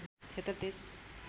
क्षेत्र २३